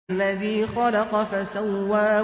الَّذِي خَلَقَ فَسَوَّىٰ